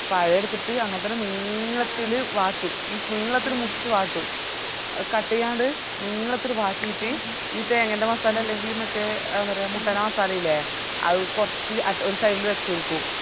കായ് എടുത്തിറ്റ് അങ്ങത്തന്നെ നീളത്തില് വാട്ടും means നീളത്തില് മുറിച്ചിറ്റ് വാട്ടും cut ചെയ്യാൻഡ് നീളത്തില് വാട്ടിറ്റ് ഈ തെങ്ങേന്റെ മസാല അല്ലെങ്കില് മറ്റേ എന്താ പറയാ മുട്ടെന്റെ മസാലയില്ലേ അത് കൊറച് അത് ഒരു side ല് വെച്ചൊടുക്കും